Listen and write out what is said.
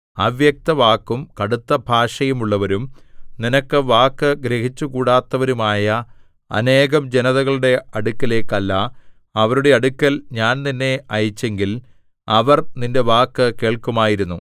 അവ്യക്തവാക്കും കടുത്ത ഭാഷയും ഉള്ളവരും നിനക്ക് വാക്ക് ഗ്രഹിച്ചുകൂടാത്തവരുമായ അനേകം ജനതകളുടെ അടുക്കലേക്കല്ല അവരുടെ അടുക്കൽ ഞാൻ നിന്നെ അയച്ചെങ്കിൽ അവർ നിന്റെ വാക്ക് കേൾക്കുമായിരുന്നു